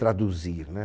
traduzir, né?